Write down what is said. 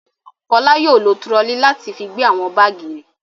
Fọlá yóò lọ turọlí láti fi gbé àwọn báágì rẹ̀.